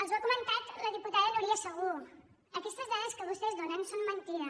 els ho ha comentat la diputada núria segú aquestes dades que vostès donen són mentida